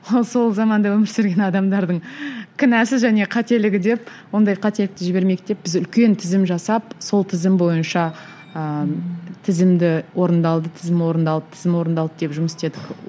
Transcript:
ол сол заманда өмір сүрген адамдардың кінәсі және қателігі деп ондай қателікті жібермейік деп біз үлкен тізім жасап сол тізім бойынша ыыы тізімді орындалды тізім орындалды тізім орындалды деп жұмыс істедік